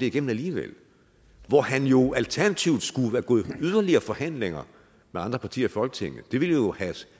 igennem alligevel hvor han jo alternativt skulle være gået i yderligere forhandlinger med andre partier i folketinget det ville jo